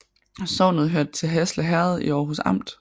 Sognet hørte til Hasle Herred i Aarhus Amt